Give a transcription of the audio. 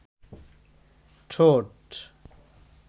ঠোঁট